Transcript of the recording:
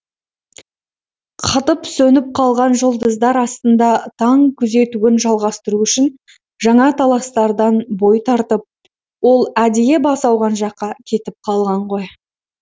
қатып сөніп қалған жұлдыздар астында таң күзетуін жалғастыру үшін жаңа таластардан бой тартып ол әдейі бас ауған жаққа кетіп қалған ғой